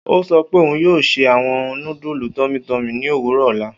O sọ pe oun yoo se awọn nudulu tummy tummy ni owurọ ọla